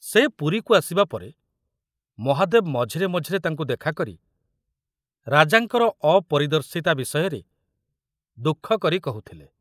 ସେ ପୁରୀକୁ ଆସିବା ପରେ ମହାଦେବ ମଝିରେ ମଝିରେ ତାଙ୍କୁ ଦେଖାକରି ରାଜାଙ୍କର ଅପରିଦର୍ଶିତା ବିଷୟରେ ଦୁଃଖ କରି କହୁଥିଲେ।